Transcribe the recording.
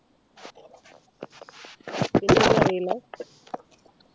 വേറൊന്നും അറീല